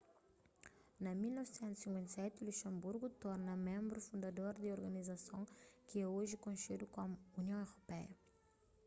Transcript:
na 1957 luxanburgu torna ménbru fundador di organizason ki é oji konxedu komu union europeia